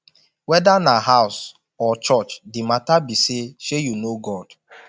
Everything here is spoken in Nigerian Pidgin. weda na house or church the mata be say shey yu know god